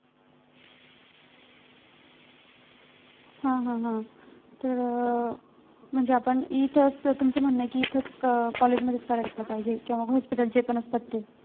हा हा हा तर अं म्हणजे आपण इथंच तुमचं म्हणणं आहे कि इथंच अं college मध्ये करायला पाहिजे किंवा hospital जे पण असतात ते